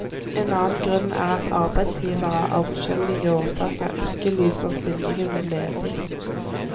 En annen grunn er at arbeidsgivere av forskjellige årsaker ikke lyser stillingene ledig.